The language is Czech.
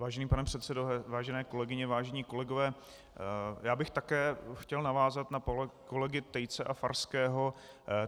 Vážený pane předsedo, vážené kolegyně, vážení kolegové, já bych také chtěl navázat na kolegy Tejce a Farského.